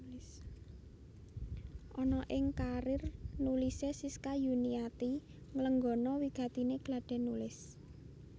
Ana ing karièr nulisé Siska Yuniati nglenggana wigatiné gladhèn nulis